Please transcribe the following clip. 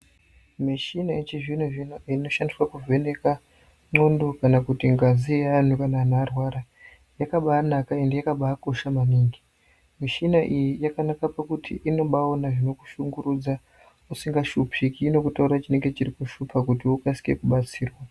Mishina yechizvino zvino inoshandiswe kuvheneka ndlondo kana kuti ngazi yeantu kana antu arwara, yakaba anaka ende yakaba akosha maningi ,mishina iyi yakanaka pakuti inobayaona zvinokushungurudza usingashupiki inokutorera chinenge chirikushupa kuti ukase kubatsirwa.